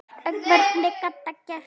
En hvernig gat það gerst?